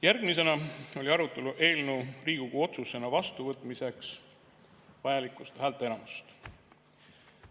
Järgmisena oli arutelu eelnõu Riigikogu otsusena vastuvõtmiseks vajaliku häälteenamuse üle.